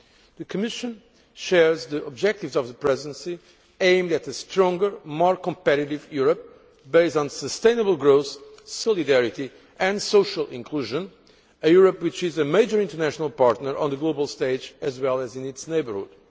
The Commission shares the objectives of the Presidency aimed at a stronger, more competitive Europe, based on sustainable growth, solidarity and social inclusion, a Europe which is a major international partner on the global stage as well as in its neighbourhood.